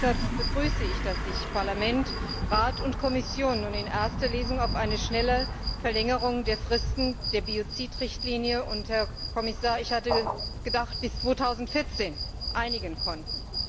Deshalb begrüße ich, dass sich Parlament, Rat und Kommission nun in erster Lesung auf eine schnelle Verlängerung der Fristen der Biozid Richtlinie Herr Kommissar, ich hatte gedacht, bis 2014 einigen konnten.